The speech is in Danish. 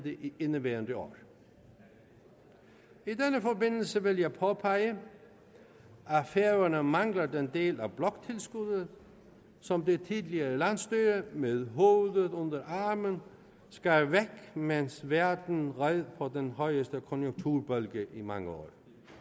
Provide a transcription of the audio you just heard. i indeværende år i den forbindelse vil jeg påpege at færøerne mangler den del af bloktilskuddet som det tidligere landsstyre med hovedet under armen skar væk mens verden red på den højeste konjunkturbølge i mange år